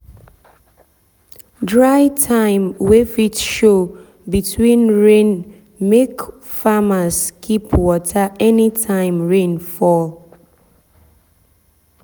dry time wey fit show between rain make farmers keep water anytime rain fall.